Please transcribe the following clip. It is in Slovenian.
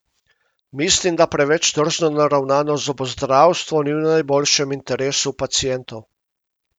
Mislim, da preveč tržno naravnano zobozdravstvo ni v najboljšem interesu pacientov.